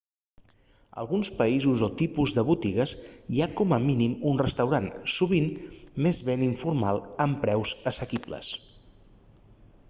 a alguns països o tipus de botigues hi ha com a mínim un restaurant sovint més bé informal amb preus assequibles